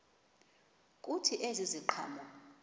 kuthi ezi ziqhamo